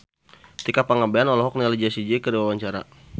Tika Pangabean olohok ningali Jessie J keur diwawancara